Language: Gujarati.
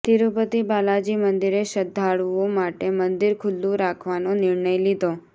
તિરુપતિ બાલાજી મંદિરે શ્રદ્ધાળુઓ માટે મંદિર ખુલ્લુ રાખવાનો નિર્ણય લીધો